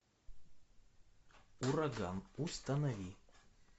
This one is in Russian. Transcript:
ураган установи